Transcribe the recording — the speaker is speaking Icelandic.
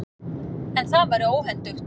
En það væri óhentugt.